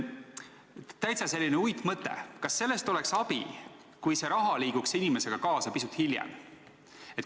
Täitsa selline uitmõte: kas sellest oleks abi, kui see raha liiguks inimesega kaasa pisut hiljem?